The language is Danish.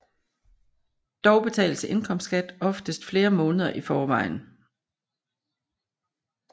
Dog betales indkomstskat oftest flere måneder i forvejen